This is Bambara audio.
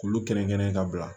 K'olu kelen kelen ka bila